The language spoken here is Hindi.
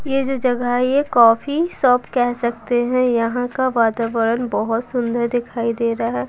ये जो जगह है ये कॉफी शॉप कह सकते हैं यहां का वातावरण बहुत सुंदर दिखाई दे रहा है।